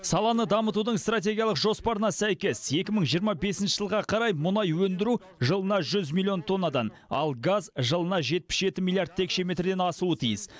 саланы дамытудың стратегиялық жоспарына сәйкес екі мың жиырма бесінші жылға қарай мұнай өндіру жылына жүз миллион тоннадан ал газ жылына жетпіс жеті миллиард текше метрден асуы тиіс